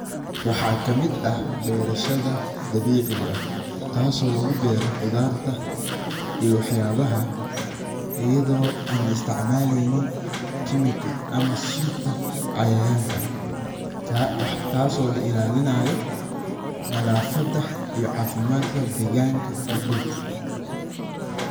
Waxa kamiid ah berashadha dabiciga ah tas o lugubero qudharta iyo waxyabaha ayadho an latacmaleynin kemika ama sunta cayayanka taas oo lailalinaya nadafada iyo cafimadka deganka iyo dulka.